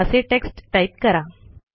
असे text type करा